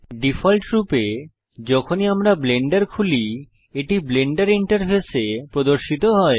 ডিফল্টরূপে যখনই আমরা ব্লেন্ডার খুলি এটি ব্লেন্ডার ইন্টারফেসে প্রদর্শিত হয়